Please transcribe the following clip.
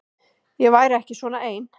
Ég væri ekki svona ein.